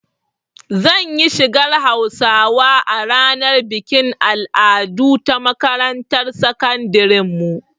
Zan yi shigar Hausawa a ranar bikin al'adu ta makarantar sakandiren mu